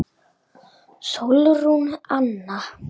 Sólrún Anna.